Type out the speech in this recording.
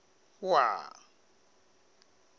wua